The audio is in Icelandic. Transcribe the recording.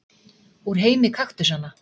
Úr heimi kaktusanna.